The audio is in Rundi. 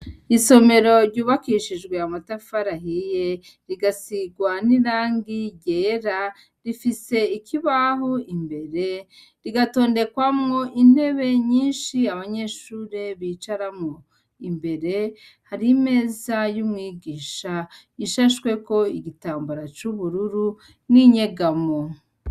Isomero ryubakishijwe amatafari ahiye rigasigwa nirangi ryera rifise ikibaho imbere, rigatondekwamwo intebe nyinshi abanyeshure bicaramwo, imbere hari imeza y’umwigisha ishashweko igitambara c’ubururu n’inyegamo.